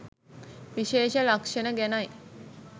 විශේෂ ලක්ෂණ ගැනයි.